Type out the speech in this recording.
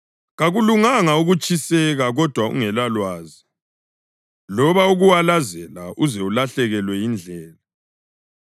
Kakulunganga ukutshiseka kodwa ungelalwazi, loba ukuwalazela uze ulahlekelwe yindlela.